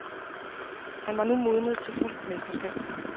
Han var nu modnet til fuldt mesterskab.